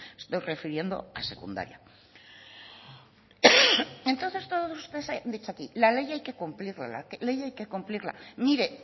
me estoy refiriendo a secundaria entonces todos ustedes han dicho aquí la ley hay que cumplirla la ley hay que cumplirla mire